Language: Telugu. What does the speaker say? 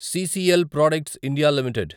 CCL products India limited